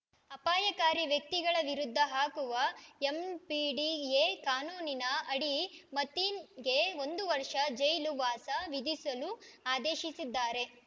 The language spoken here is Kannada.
ಅಪಾಯಕಾರಿ ವ್ಯಕ್ತಿಗಳ ವಿರುದ್ಧ ಹಾಕುವ ಎಂಪಿಡಿಎ ಕಾನೂನಿನ ಅಡಿ ಮತೀನ್‌ಗೆ ಒಂದು ವರ್ಷ ಜೈಲು ವಾಸ ವಿಧಿಸಲು ಆದೇಶಿಸಿದ್ದಾರೆ